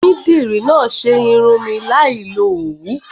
Onídìrí náà ṣe irun mi láì lo Òwú.